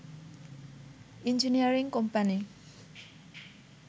engineering company